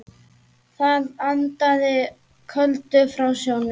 Það andaði köldu frá sjónum.